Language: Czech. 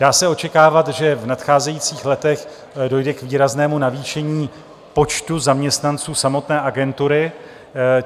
Dá se očekávat, že v nadcházejících letech dojde k výraznému navýšení počtu zaměstnanců samotné agentury.